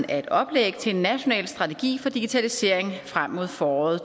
af et oplæg til en national strategi for digitalisering frem mod foråret